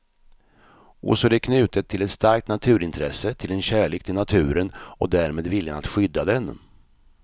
Och så är det knutet till ett starkt naturintresse, till en kärlek till naturen och därmed viljan att skydda den.